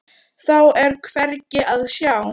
Þá er hvergi að sjá.